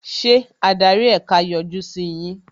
Ṣé adarí ẹ̀ka yọjú sí yín?